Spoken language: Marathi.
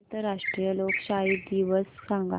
आंतरराष्ट्रीय लोकशाही दिवस सांगा